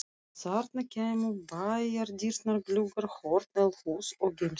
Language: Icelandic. Þarna kæmu bæjardyrnar, gluggar, horn, eldhús og geymsla.